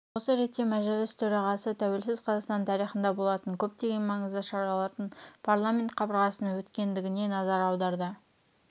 осы ретте мәжіліс төорағасы тәуелсіз қазақстан тарихында болатын көптеген маңызды шаралардың парламент қабырғасында өткендігіне назар аударды